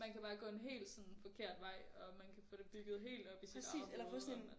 Man kan bare gå en helt sådan forkert vej og man kan få det bygget helt op i sit eget hoved og man